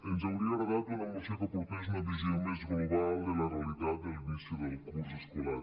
ens hauria agradat una moció que aportés una visió més global de la realitat de l’inici del curs escolar